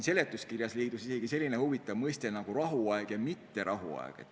Seletuskirjas leidub rahuaja kõrval isegi selline huvitav mõiste nagu "mitterahuaeg".